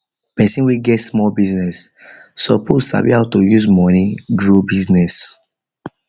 person when get small business business suppose sabi how to use the money grow business